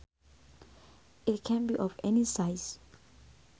It can be of any size